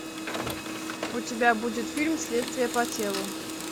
у тебя будет фильм следствие по телу